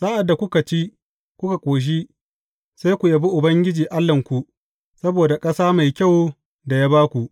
Sa’ad da kuka ci, kuka ƙoshi, sai ku yabi Ubangiji Allahnku saboda ƙasa mai kyau da ya ba ku.